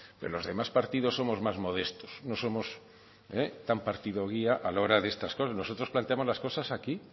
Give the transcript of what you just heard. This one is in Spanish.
pero los demás partidos somos más modestos no somos tan partido guía a la hora de estas cosas nosotros planteamos las cosas aquí